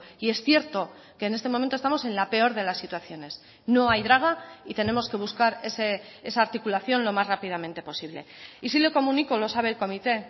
y es cierto que en este momento estamos en la peor de las situaciones no hay draga y tenemos que buscar esa articulación lo más rápidamente posible y sí le comunico lo sabe el comité